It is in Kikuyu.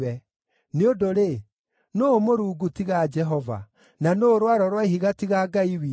Nĩ ũndũ-rĩ, nũũ Mũrungu tiga Jehova? Na nũũ Rwaro rwa Ihiga tiga Ngai witũ?